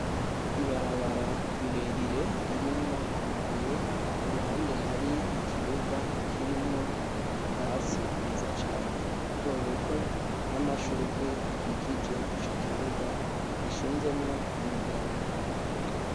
Ibarabara rirerire ririmwo amabuye iruhande hari ikibuga kirimwo ubwasi bwiza cane ubutobuto n'amashugwe akikije ico kibuga hashinzemwo amadarapota.